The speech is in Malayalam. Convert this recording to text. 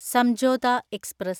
സംജോത എക്സ്പ്രസ്